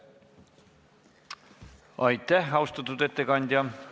Aitäh, austatud ettekandja!